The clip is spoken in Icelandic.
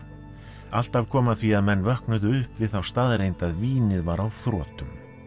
alltaf kom að því að menn vöknuðu upp við þá staðreynd að vínið var á þrotum